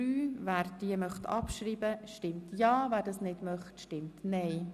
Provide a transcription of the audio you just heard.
Wer Ziffer 3 der Motion abschreiben möchte, stimmt ja, wer das ablehnt, stimmt nein.